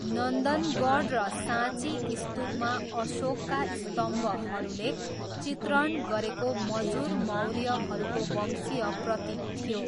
नन्दनगढ र साँची स्तूपमा अशोकका स्तम्भहरूले चित्रण गरेको मजुर मौर्यहरूको वंशीय प्रतीक थियो।